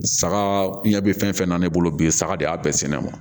Saga ɲɛ bɛ fɛn fɛn na ne bolo bi sa de y'a bɛɛ sɛnɛ ne ma